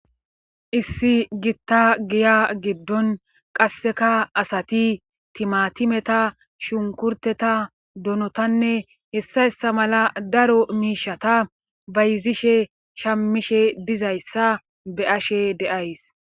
Issi gitta giya giddon qasseka asati timatimeta shunkurteta donotanne hessayssa mala daro miishata bayzishe shammishe dizayssa be ashe deays.